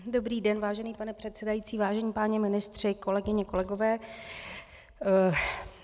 Dobrý den, vážený pane předsedající, vážení páni ministři, kolegyně, kolegové.